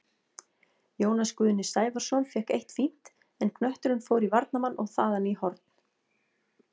Jónas Guðni Sævarsson fékk eitt fínt, en knötturinn fór í varnarmann og þaðan í horn.